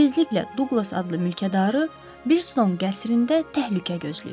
Çox tezliklə Duqlas adlı mülkədarı Birton qəsrində təhlükə gözləyir.